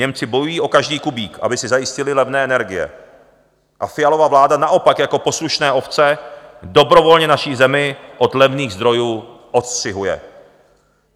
Němci bojují o každý kubík, aby si zajistili levné energie, a Fialova vláda naopak jako poslušné ovce dobrovolně naší zemi od levných zdrojů odstřihuje.